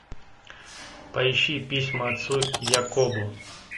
поищи письма отцу якобу